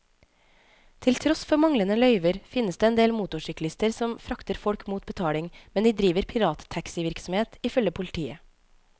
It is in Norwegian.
Til tross for manglende løyver, finnes det en del motorsyklister som frakter folk mot betaling, men de driver pirattaxivirksomhet, ifølge politiet.